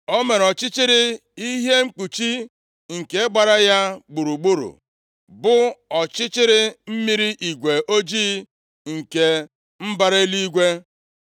O mere ọchịchịrị ihe mkpuchi nke gbara ya gburugburu, bụ ọchịchịrị mmiri igwe ojii nke mbara eluigwe.